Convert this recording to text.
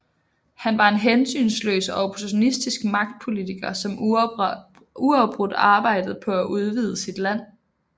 Han var en hensynsløs og opportunistisk magtpolitiker som uafbrudt arbejdede på at udvide sit land